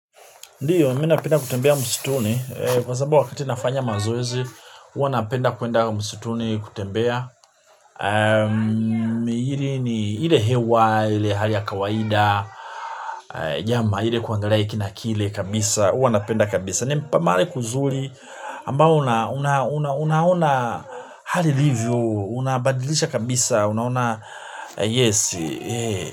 Ndio, mi napenda kutembea msituni, kwa sababu wakati nafanya mazoezi, huwa napenda kuenda msituni kutembea. Ili ni, ile hewa, ile hali ya kawaida, jama, ile kuangalia hiki na kile kabisa, huwa napenda kabisa. Ni mahali kuzuri, ambao unaona hali ilivyo, unabadilisha kabisa, unaona yes.